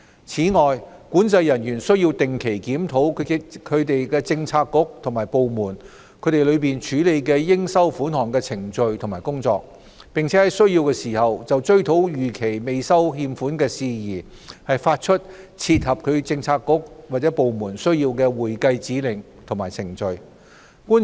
此外，管制人員須定期檢討其政策局/部門內處理應收款項的程序和工作，並在需要時就追討逾期未收欠款事宜，發出切合其政策局/部門需要的會計指令及程序。